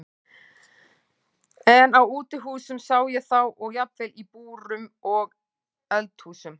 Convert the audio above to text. En á útihúsum sá ég þá og jafnvel í búrum og eldhúsum.